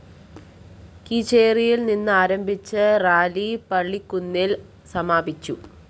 കീച്ചേരിയില്‍ നിന്നാരംഭിച്ച റാലി പള്ളിക്കുന്നില്‍ സമാപിച്ചു